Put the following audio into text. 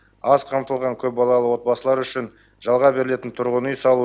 аз қамтылған көпбалалы отбасылар үшін жалға берілетін тұрғын үй салу